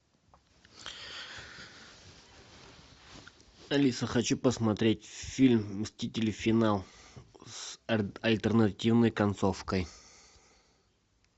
алиса хочу посмотреть фильм мстители финал с альтернативной концовкой